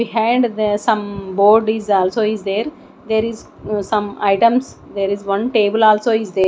behind the some board is also is there there is some items there is one table also is there.